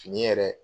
Fini yɛrɛ